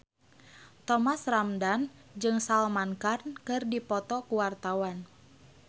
Thomas Ramdhan jeung Salman Khan keur dipoto ku wartawan